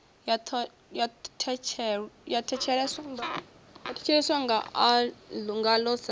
ya ḓo thetsheleswa ngaḽo sa